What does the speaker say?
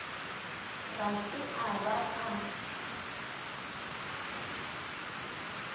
ga se a ba a